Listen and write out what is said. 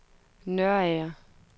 Nørager